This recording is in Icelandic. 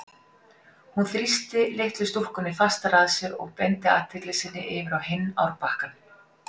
Hún þrýsti litlu stúlkunni fastar að sér og beindi athygli sinni yfir á hinn árbakkann.